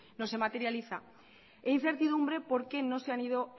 no se materializa e incertidumbre porque no se han ido